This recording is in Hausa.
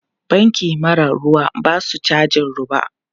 Banki mara ruwa ba su cajin roba.